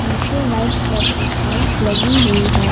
नीचे white colour की tiles लगी हुई है।